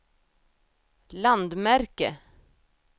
landmärke